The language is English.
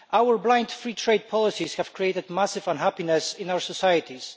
Our blind free trade policies have created massive unhappiness in our societies.